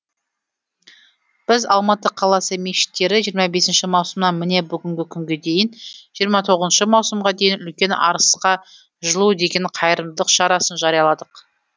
біз алматы қаласы мешіттері жиырма бесінші маусымнан міне бүгінгі күнге дейін жиырма тоғызыншы маусымға дейін үлкен арысқа жылу деген қайырымдылық шарасын жарияладық